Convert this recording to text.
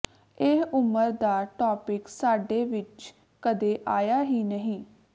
ਇਹ ਉਮਰ ਦਾ ਟਾਪਿਕ ਸਾਡੇ ਵਿੱਚ ਕਦੇ ਆਇਆ ਹੀ ਨਹੀਂ